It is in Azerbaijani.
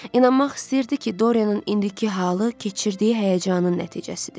İnanmaq istəyirdi ki, Doryanın indiki halı keçirdiyi həyəcanın nəticəsidir.